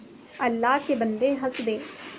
अल्लाह के बन्दे हंसदे